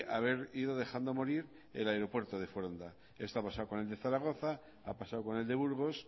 haber ido dejando morir el aeropuerto de foronda esto ha pasado con el de zaragoza ha pasado con el de burgos